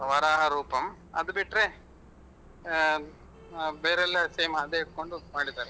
ವರಾಹರೂಪಮ್ ಅದುಬಿಟ್ರೆ ಬೇರೆ ಎಲ್ಲ same ಅದೇ ಇಟ್ಕೊಂಡ್ ಮಾಡಿದ್ದಾರೆ.